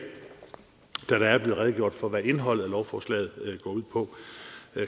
da redegjort for hvad indholdet af lovforslaget går ud på